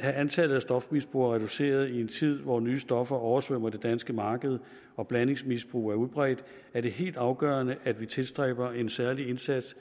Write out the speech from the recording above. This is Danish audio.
have antallet af stofmisbrugere reduceret i en tid hvor nye stoffer oversvømmer det danske marked og blandingsmisbrug er udbredt er det helt afgørende at vi tilstræber en særlig indsats